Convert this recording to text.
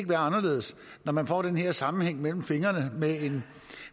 være anderledes når man får den her sammenhæng mellem fingrene